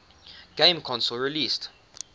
game console released